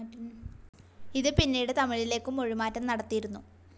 ഇത് പിന്നീട് തമിഴിലേക്കും മൊഴിമാറ്റം നടത്തിയിരുന്നു.